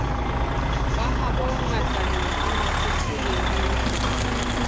ba habo ngatane ramafothole le